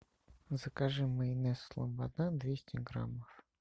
закажи майонез слобода двести граммов